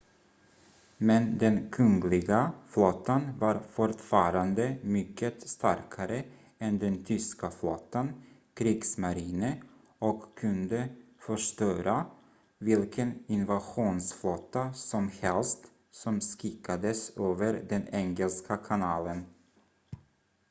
"men den kungliga flottan var fortfarande mycket starkare än den tyska flottan "kriegsmarine" och kunde förstöra vilken invasionsflotta som helst som skickades över den engelska kanalen.